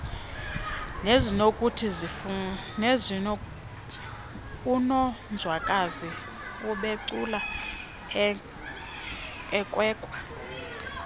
unonzwakazi ubecula ekwekwa